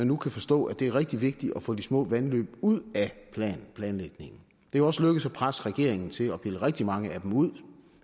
nu forstå at det er rigtig vigtigt at få de små vandløb ud af planlægningen det er også lykkedes at presse regeringen til at pille rigtig mange af dem ud